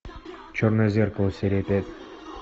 черное зеркало серия пять